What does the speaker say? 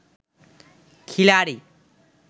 খিলাড়ি